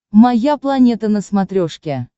моя планета на смотрешке